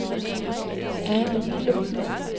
Ane Villumsen